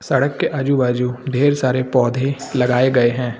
सड़क के आजू बाजू ढेर सारे पौधे लगाए गए हैं।